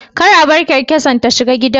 Kar a bar kyankyasar ta shiga gidan